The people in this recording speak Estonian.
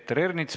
Aitäh!